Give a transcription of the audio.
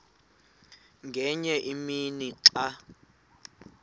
ngenye imini xa